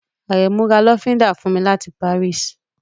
Àrẹ̀mú ra lọ́fíndà fún mi láti Paris